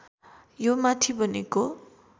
यो माथि बनेको